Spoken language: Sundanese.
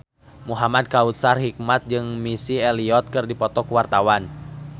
Muhamad Kautsar Hikmat jeung Missy Elliott keur dipoto ku wartawan